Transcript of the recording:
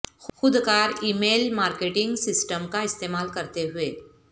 خودکار email marketing system کا استعمال کرتے ہوئے